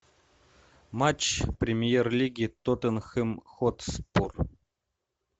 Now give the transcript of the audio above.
матч премьер лиги тоттенхэм хотспур